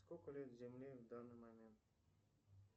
сколько лет земле в данный момент